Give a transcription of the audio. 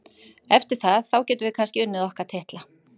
Eftir það, þá getum við kannski unnið okkar titla.